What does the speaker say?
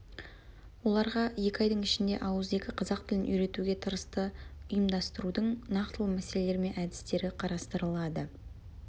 оларға екі айдың ішінде ауызекі қазақ тілін үйретуге тырысты ұйымдастырудың нақтылы мәселелері мен әдістері қарастырылады